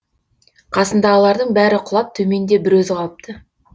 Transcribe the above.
қасындағылардың бәрі құлап төменде бір өзі қалыпты